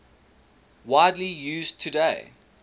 widely used today